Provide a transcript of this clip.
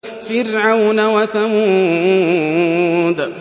فِرْعَوْنَ وَثَمُودَ